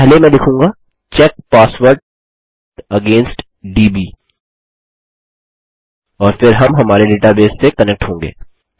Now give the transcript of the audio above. पहले मैं लिखूँगा चेक पासवर्ड अगेंस्ट दब् और फिर हम हमारे डेटाबेस से कनेक्ट होंगे